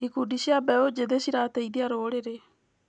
Ikundi cia mbeũ njĩthĩ cirateithia rũrĩrĩ.